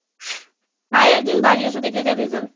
যায় একদিন বাড়ি এসে দেখে যা result